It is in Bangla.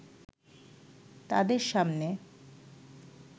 তাদের সামনে